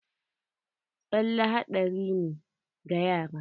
Tsale haɗari ne ga yara.